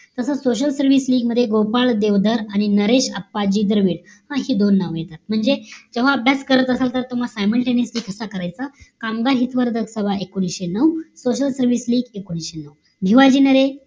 तास social service मध्ये गोपाळ नरेगाळ आणि नरेश अप्पाजी दर्वे हि दोन नाव येतात म्हणजे जेव्हा अभ्यास करत असाल तर SIMULTANEOUSLY कास करायचा कामगार हितवर्धक सभा एकोणीशे नऊ social service एकोणीशे नऊ भिमाजी नारे